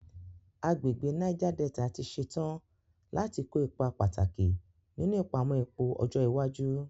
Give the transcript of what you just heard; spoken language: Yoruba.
Agbègbè Niger Delta ti ṣetán láti kó ipa pàtàkì nínú ìpamọ́ epo ọjọ́ iwájú.